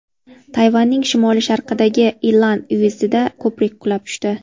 Tayvanning shimoli-sharqidagi Ilan uyezdida ko‘prik qulab tushdi.